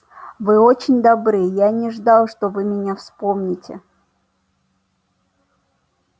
вы очень добры я не ждал что вы меня вспомните